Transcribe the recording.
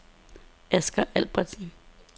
Asger Albertsen